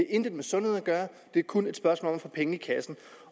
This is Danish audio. intet med sundhed at gøre det er kun et spørgsmål om at få penge i kassen